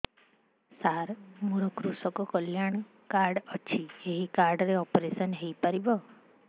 ସାର ମୋର କୃଷକ କଲ୍ୟାଣ କାର୍ଡ ଅଛି ଏହି କାର୍ଡ ରେ ଅପେରସନ ହେଇପାରିବ